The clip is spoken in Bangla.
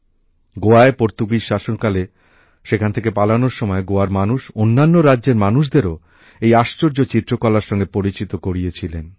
গোয়ায় পর্তুগিজ শাসনকালে সেখান থেকে পালানোর সময় গোয়ার মানুষ অন্যান্য রাজ্যের মানুষদেরও এই আশ্চর্য চিত্রকলার সঙ্গে পরিচিত করিয়ে ছিলেন